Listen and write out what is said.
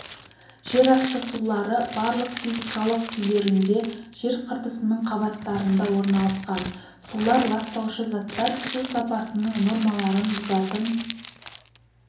жерасты сулары барлық физикалық күйлерінде жер қыртысының қабаттарында орналасқан сулар ластаушы заттар су сапасының нормаларын бұзатын